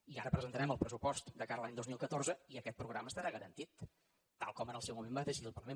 i ara presentarem el pressupost de cara a l’any dos mil catorze i aquest programa estarà garantit tal com en el seu moment va decidir el parlament